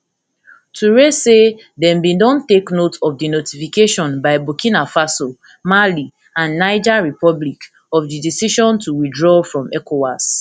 touray say dem bin don take note of di notification by burkina faso mali and niger republic of di decision to withdraw from ecowas